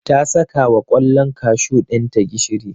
ta saka wa kwallon kashu ɗinta gishiri.